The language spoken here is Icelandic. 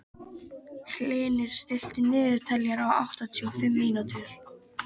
Hlynur, stilltu niðurteljara á áttatíu og fimm mínútur.